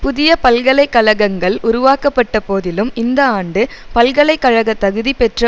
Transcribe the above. புதிய பல்கலை கழகங்கள் உருவாக்கப்பட்ட போதிலும் இந்த ஆண்டு பல்கலை கழக தகுதி பெற்ற